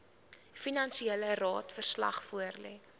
finansiële jaarverslag voorlê